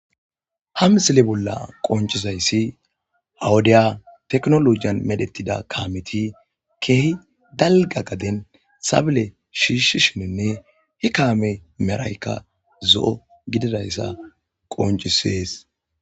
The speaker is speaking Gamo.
Ha misile bolla qoncizaysi ha wofiya tekinolojiyan medhetida kameti kehi dalga garden sabile shishishinine he kame medhoyka zo'o gidizaysa qoncises